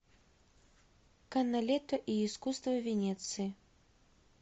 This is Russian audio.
каналетто и искусство венеции